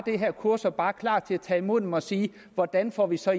her kurser bare klar til at tage imod dem og sige hvordan får vi så